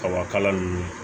Kaba kala ninnu